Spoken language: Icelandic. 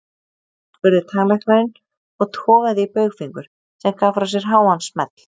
spurði tannlæknirinn og togaði í baugfingur, sem gaf frá sér háan smell.